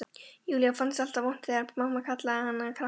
Júlíu fannst alltaf vont þegar mamma kallaði hana krakkann.